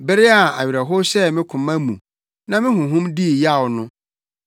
Bere a awerɛhow hyɛɛ me koma mu na me honhom dii yaw no,